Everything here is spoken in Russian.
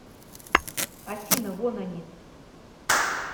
афина вон они